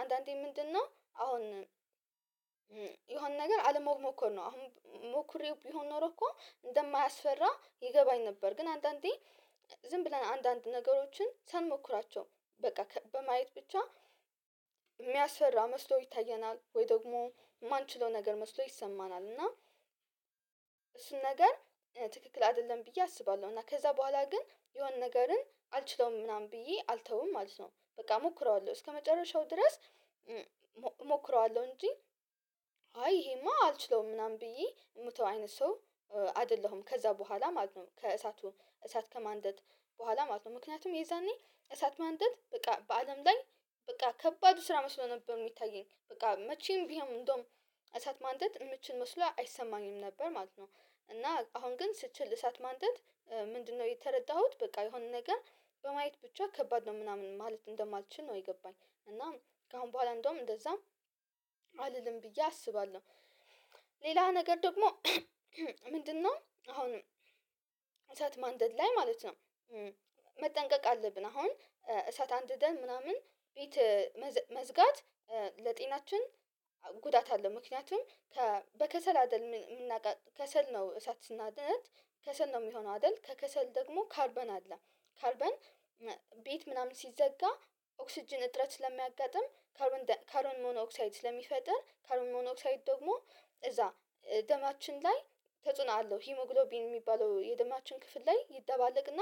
አንዳንዴ ምንድነው አሁን የሆነ ነገር አለመሞከር ነው። አሁን ሞክሬው ቢሆን ኖሮ እኮ እንደማያስፈራ ይገባኝ ነበር። ግን አንዳንዴ ዝም ብለን አንዳንድ ነገሮችን ሳንሞክራቸው በቃ በማየት ብቻ ሚያስፈራ መስሎ ይታየናል ወይ ደግሞ ማንችለው ነገር መስሎ ይሰማናል እና እሱን ነገር ትክክል አይደለም ብዬ አስባለሁ እና ከዛ በኋላ ግን የሆነ ነገርን አልችለውም ምናምን ብዬ አልተውም ማለት ነው። በቃ እሞክረዋለሁ እስከመጨረሻው ድረስ እሞክረዋለሁ እንጂ አይ ይሄማ አልችለውም ምናምን ብዬ ምተው አይነት ሰው አይደለሁም ከዛ በኋላ ማለት ነው ከእሳቱ እሳት ከማንደድ በኋላ ማለት ነው። ምክንያቱም የዛኔ እሳት ማንደድ በቃ በአለም ላይ በቃ ከባዱ ስራ መስሎ ነበር ሚታየኝ። በቃ መቼም ቢሆን እንደውም እሳት ማንደድ ምችል መስሎ አይሰማኝም ነበር ማለት ነው። እና አሁን ግን ስችል እሳት ማንደድ ምንድነው የተረዳሁት በቃ የሆነ ነገር በማየት ብቻ ከባድ ነው ምናምን ማለት እንደማልችል ነው የገባኝ። እና ከአሁን በኋላ እንደውም እንደዛም አልልም ብዬ አስባለሁ። ሌላ ነገር ደግሞ ምንድነው አሁን እሳት ማንደድ ላይ ማለት ነው መጠንቀቅ አለብን። አሁን እሳት አንድደን ምናምን ቤት መዝጋት ለጤናችን ጉዳት አለው። ምክንያቱም በከሰል አይደለም የምናቀ ከሰል ነው እሳት ስናደርግ ከሰል ነው ሚሆነው አይደል? ከከሰል ደግሞ ካርበን አለ ካርበን ቤት ምናምን ሲዘጋ ኦክስጅን እጥረት ስለሚያጋጥም ካርበን ካርበን ሞኖክሳይድ ስለሚፈጥር ካርበን ሞኖክሳይድ ደግሞ እዛ ደማችን ላይ ተጽዕኖ አለው። ሂሞግሎቢን የሚባለው የደማችን ክፍል ላይ ይደባለቅና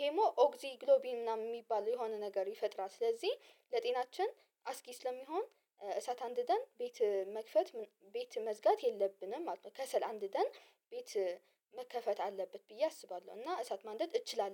ሄሞ ኦክሲ ግሎቢን ምናምን የሚባል የሆነ ነገር ይፈጥራል። ስለዚህ ለጤናችን አስጊ ስለሚሆን እሳት አንድደን ቤት መክፈት ቤት መዝጋት የለብንም ማለት ነው። ከሰል አንድደን ቤት መከፈት አለበት ብዬ አስባለሁ እና እሳት ማንደድ እችላለሁ።